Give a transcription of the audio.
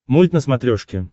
мульт на смотрешке